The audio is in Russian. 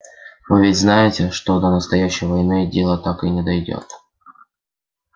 вы ведь знаете что до настоящей войны дело так и не дойдёт